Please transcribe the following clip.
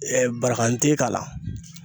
Ɛɛ baran te k'a la